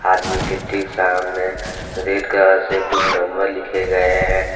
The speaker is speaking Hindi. आदमी के ठीक सामने रेड कलर से कुछ नंबर लिखे गए हैं।